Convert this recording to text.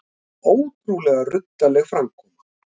Ótrúlega ruddaleg framkoma